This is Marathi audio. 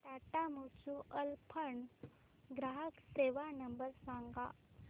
टाटा म्युच्युअल फंड ग्राहक सेवा नंबर सांगा